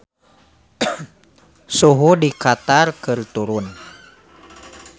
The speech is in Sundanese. Suhu di Qatar keur turun